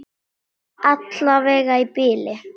Alla vega í bili.